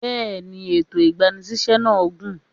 Bẹ́ẹ̀ni, ètò ìgbani síṣẹ́ náà gùn.